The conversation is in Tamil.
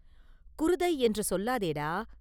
“குருதை என்று சொல்லாதேடா!